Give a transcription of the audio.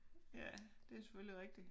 Ja det selvfølgelig rigtig